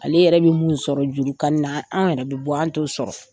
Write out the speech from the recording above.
Ale yɛrɛ bi mun sɔrɔ juru kani na an yɛrɛ bi bɔ anw to sɔrɔ.